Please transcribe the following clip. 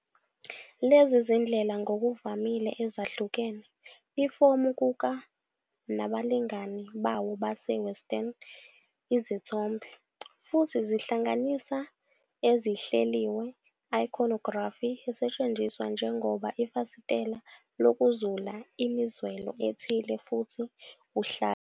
Lezi zindlela ngokuvamile ezahlukene ifomu kuka nabalingani bawo base-Western izithombe, futhi zihlanganisa ezihleliwe iconography esetshenziswa njengoba ifasitela lokuzula imizwelo ethile futhi uhlale.